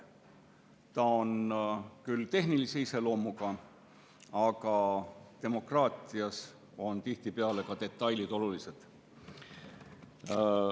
Ta on küll tehnilise iseloomuga, aga demokraatias on tihtipeale ka detailid olulised.